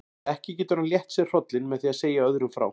Ekki getur hann létt sér hrollinn með því að segja öðrum frá.